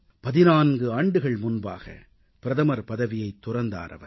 14 ஆண்டுகள் முன்பாக பிரதமர் பதவியைத் துறந்தார் அவர்